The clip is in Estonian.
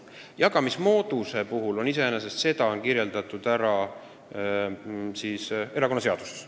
Raha jagamise moodus on kirjeldatud erakonnaseaduses.